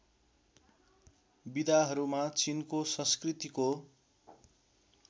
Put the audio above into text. विधाहरूमा चिनको संस्कृतिको